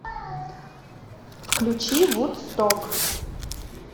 включи вудсток